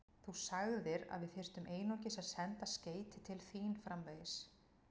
Þú sagðir, að við þyrftum einungis að senda skeyti til þín framvegis.